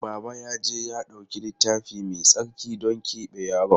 Baba ya je ya ɗauki Littafi Mai Tsarki don keɓe yaron.